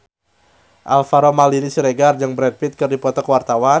Alvaro Maldini Siregar jeung Brad Pitt keur dipoto ku wartawan